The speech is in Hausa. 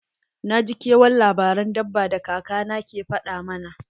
Na ji kewan labaran dabba da kaka na ke faɗa mana.